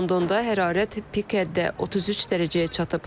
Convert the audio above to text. Londonda hərarət pik həddə 33 dərəcəyə çatıb.